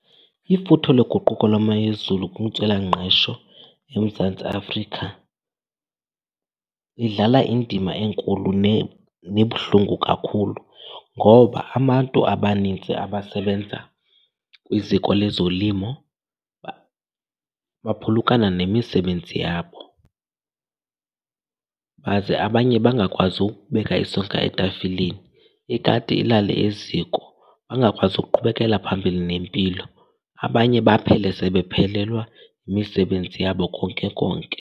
Ifuthe loguquko lwemo yezulu kwintswelangqesho eMzantsi Afrika idlala indima enkulu nebuhlungu kakhulu ngoba abantu abanintsi abasebenza kwiziko lezolimo baphulukana nemisebenzi yabo baze abanye bangakwazi ukubeka isonka etafileni, ikati ilale eziko bangakwazi ukuqhubekelela phambili nempilo. Abanye baphele sebephelelwa yimisebenzi yabo konke konke.